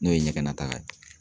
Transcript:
N'o ye ɲɛgɛnna taaga ye